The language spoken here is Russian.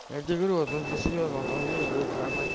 где вы это серьёзно там вещи говорит формат